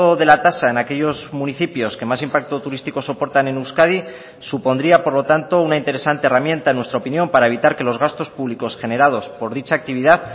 de la tasa en aquellos municipios que más impacto turístico soportan en euskadi supondría por lo tanto una interesante herramienta en nuestra opinión para evitar que los gastos públicos generados por dicha actividad